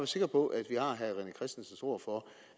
sikker på at vi har herre rené christensens ord for at